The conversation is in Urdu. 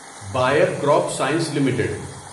buyer crop science limited